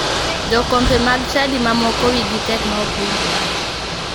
Jokombe mag chadi ma moko wigi tek ma ok winj wach.